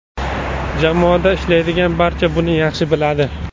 Jamoada ishlaydigan barcha buni yaxshi biladi.